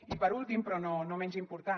i per últim però no menys important